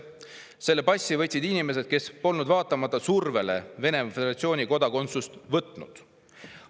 Selle passi võtsid inimesed, kes polnud vaatamata survele Venemaa Föderatsiooni kodakondsust võtnud.